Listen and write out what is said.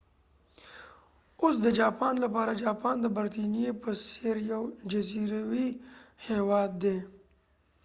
اوس د جاپان لپاره جاپان د برطانیې په څیر یو جزیروي هیواد دي